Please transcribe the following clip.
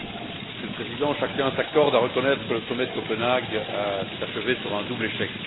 Monsieur le Président, chacun s'accorde à reconnaître que le Sommet de Copenhague s'est achevé sur un double échec.